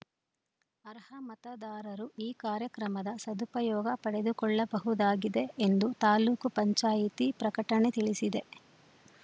ಅರ್ಹ ಮತದಾರರು ಈ ಕಾರ್ಯಕ್ರಮದ ಸದುಪಯೋಗ ಪಡೆದುಕೊಳ್ಳಬಹುದಾಗಿದೆ ಎಂದು ತಾಲೂಕು ಪಂಚಾಯಿತಿ ಪ್ರಕಟಣೆ ತಿಳಿಸಿದೆ